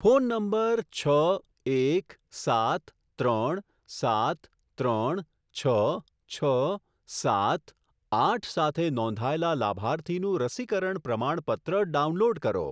Phone number છ એક સાત ત્રણ સાત ત્રણ છ છ સાત આઠ સાથે નોંધાયેલા લાભાર્થીનું રસીકરણ પ્રમાણપત્ર ડાઉનલોડ કરો.